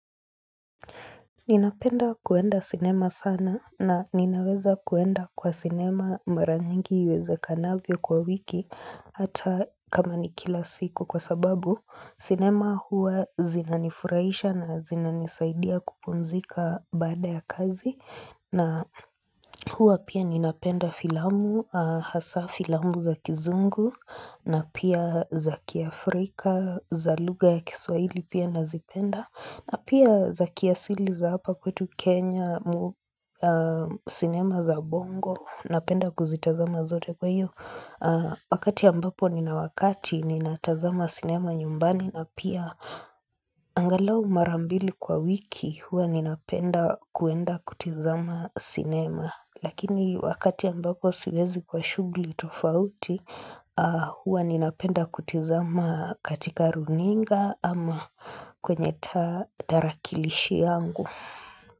Ninapenda kwenda sinema sana na ninaweza kwenda kwa sinema mara nyingi iwezekanavyo kwa wiki hata kama nikila siku kwa sababu sinema huwa zinanifurahisha na zinanisaidia kupumzika baada ya kazi na huwa pia ninapenda filamu, hasa filamu za kizungu na pia za kia Afrika, za lugha ya kiswahili pia nazipenda na pia za kiasili za hapa kwetu Kenya, sinema za bongo, napenda kuzitazama zote kwa hiyo. Wakati ambapo ni na wakati ni natazama sinema nyumbani na pia angalau marambili kwa wiki, hua ninapenda kuenda kutizama sinema. Lakini wakati ambako siwezi kwa shughuli tofauti, huwa ninapenda kutizama katika runinga ama kwenye tarakilishi yangu.